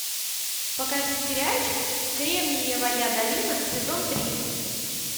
покажи сериальчик кремниевая долина сезон три